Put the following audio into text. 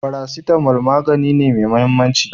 Paracetamol magani ne me mahimmanci